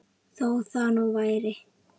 Þó það nú væri!